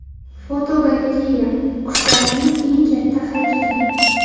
Fotogalereya: Qushlarning eng katta haykali.